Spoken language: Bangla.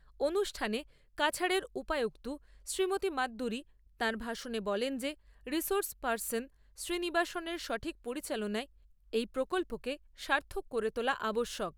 অনুষ্ঠানে কাছাড়ের উপায়ুক্ত মতী মাদ্দুরী তার ভাষনে বলেন যে রিসোর্স পার্সন শ্রীনিবাসনের সঠিক পরিচালনায় এই প্রকল্পকে সার্থক করে তোলা আবশ্যক ।